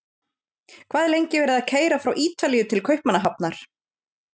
Hvað er lengi verið að keyra frá Ítalíu til Kaupmannahafnar?